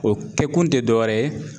O kɛkun te dɔ wɛrɛ ye